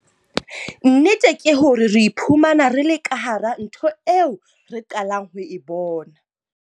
Nnete ke hore re iphumana re le ka hara ntho eo re qalang ho e bona.